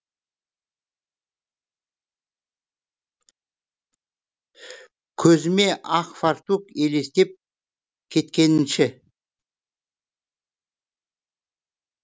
көзіме ақ фартук елестеп кеткенінші